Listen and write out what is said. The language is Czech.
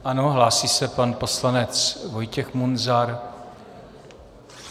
Ano, hlásí se pan poslanec Vojtěch Munzar.